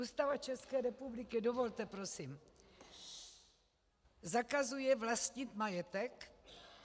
Ústava České republiky - dovolte prosím zakazuje vlastnit majetek?